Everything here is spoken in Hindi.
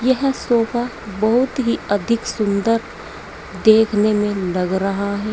यह सोफा बहुत ही अधिक सुंदर देखने में लग रहा हैं।